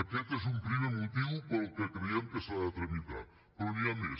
aquest és un primer motiu pel qual creiem que s’ha de tramitar però n’hi ha més